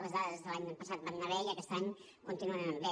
les dades de l’any passat van anar bé i aquest any continuen anant bé